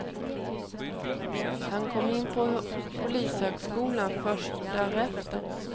Han kom in på polishögskolan först därefter.